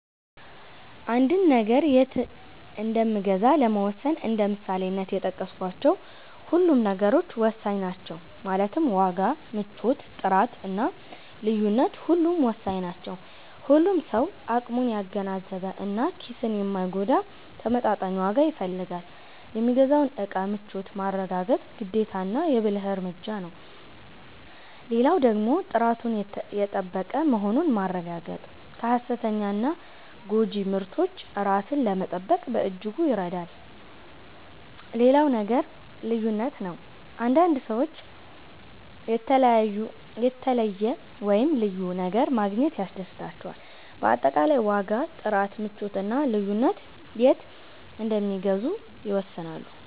አንድን ነገር የት እንምገዛ ለመወሰን እንደ ምሳሌነት የጠቀስካቸው ሁሉም ነገሮች ወሳኝ ናቸው ማለትም ዋጋ፣ ምቾት፣ ጥራት እና ልዩነት ሁሉም ወሳኝ ናቸው። ሁሉም ሰው አቅሙን ያገናዘበ እና ኪስን የማይጎዳ ተመጣጣኝ ዋጋ ይፈልጋል። የሚገዛውን እቃ ምቾት ማረጋገጥ ግዴታና የ ብልህ እርምጃ ነው። ሌላው ደግሞ ጥራቱን የጠበቀ መሆኑን ማረጋገጥ ከ ሃሰተኛና ጎጂ ምርቶች ራስን ለመጠበቅ በእጅጉ ይረዳል። ሌላው ነገር ልዩነት ነው፤ አንዳንድ ሰዎች የተለየ(ልዩ) ነገር ማግኘት ያስደስታቸዋል። በአጠቃላይ ዋጋ፣ ጥራት፣ ምቾት እና ልዩነት የት እንደሚገዙ ይወስናሉ።